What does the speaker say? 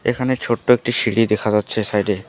এখানে ছোট্ট একটি সিঁড়ি দেখা যাচ্ছে সাইড -এ।